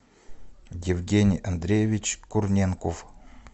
евгений андреевич курненков